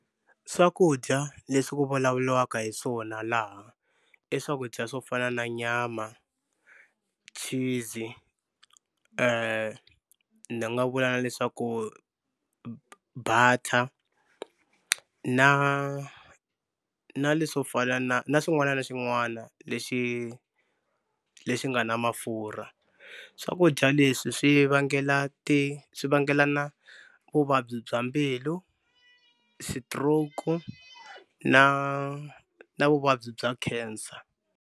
Swakudya leswi ku vulavuriwaka hi swona laha i swakudya swo fana na nyama, cheese ni nga vula leswaku butter na na leswo pfala na na xin'wana na xin'wana lexi lexi nga na mafurha. Swakudya leswi swi vangela ti swi vangelana vuvabyi bya mbilu, stroke na na vuvabyi bya cancer.